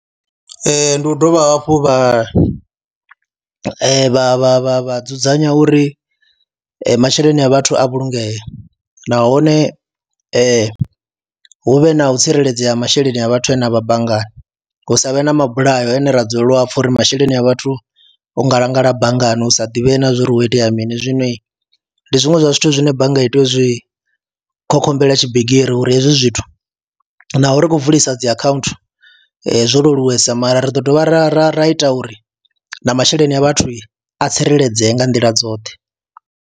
Ee, ndi u dovha hafhu vha e vha vha vha vha dzudzanya uri masheleni a vhathu a vhulungee nahone hu vhe na u tsireledzea ha masheleni a vhathu ane a vha banngani, hu sa vhe na mabulayo haya ane ra dzulela u a pfha uri masheleni a vhathu o ngalangala banngani hu sa divhei na zwa uri ho itea mini. Zwino ndi zwiṅwe zwa zwithu zwine bannga i tea u zwi khogomela tshibigiri uri hezwi zwithu naho ri khou vulisa dzi akhaunthu zwo leluwesa mara ri ḓo dovha ra ra ra ita uri na masheleni a vhathu a tsireledzee nga nḓila dzoṱhe.